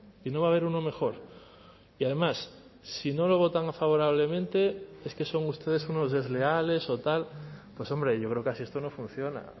y no va a haber uno mejor y además si no lo votan favorablemente es que son ustedes unos desleales o tal pues hombre yo creo que así esto no funciona